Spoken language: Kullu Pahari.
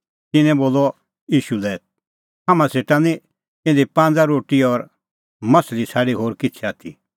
तिन्नैं च़ेल्लै बोलअ ईशू लै हाम्हां सेटा निं इधी पांज़ रोटी और माह्छ़ली छ़ाडी होर किछ़ै आथी